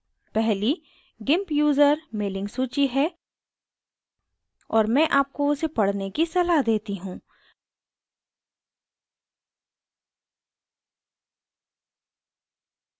पहली gimp user mailing सूची है और मैं आपको उसे पढ़ने की सलाह देती हूँ